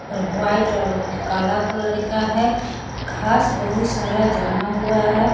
और वाइट और काला कलर का है। घास बहुत सारा जमा हुआ है।